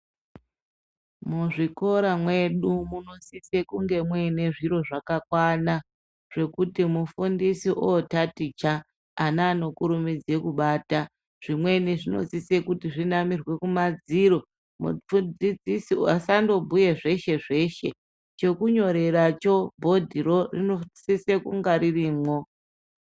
Muzvikora mwedu munosise kunge mune zviro zvakakwana zvekuti mufundisi otaticha ana anokurumidze kubata zvimweni zvinosise kuti zvinamirwe kumadziro mudzidzisi asandobhuye zveshe zveshe chokunyoreracho bhodhiro rinosise kunga ririmwo.